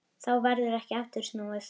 Þá verður ekki aftur snúið.